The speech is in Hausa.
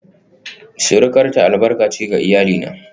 surukarta albarka ce ga iyalina